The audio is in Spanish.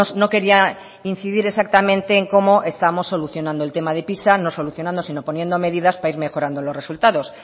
no quería incidir exactamente en cómo estamos solucionando el tema de pisa no solucionando sino poniendo medidas para ir mejorando los resultados